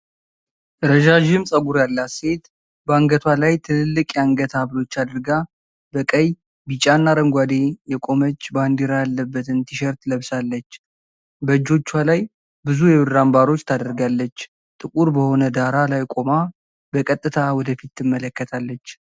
ረዣዥም ፀጉር ያላት ሴት፣ በአንገቷ ላይ ትልልቅ የአንገት ሀብሎች አድርጋ በቀይ፣ ቢጫና አረንጓዴ የቆመች ባንዲራ ያለበትን ቲሸርት ለብሳለች። በእጆቿ ላይ ብዙ የብር አምባሮች ታደርጋለች። ጥቁር በሆነ ዳራ ላይ ቆማ በቀጥታ ወደ ፊት ትመለከታለች።